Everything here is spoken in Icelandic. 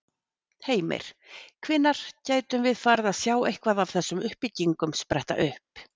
Heimir: Hvenær gætum við farið að sjá eitthvað af þessum byggingum spretta upp?